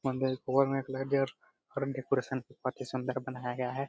और डेकोरेशन अति सुन्दर बनाया गया हैं।